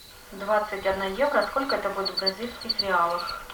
двадцать одна евро сколько это будет в бразильских реалах